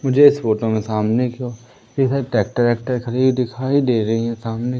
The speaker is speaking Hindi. मुझे इस फोटो में सामने की ओर इधर ट्रैक्टर वैक्टर खड़ी हुई दिखाई दे रही है सामने--